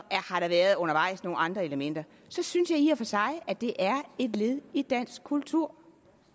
undervejs nogle andre elementer så synes jeg i og for sig det er et led i dansk kultur